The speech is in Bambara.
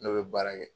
Ne bɛ baara kɛ